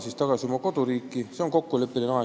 See 270 päeva on kokkuleppeline aeg.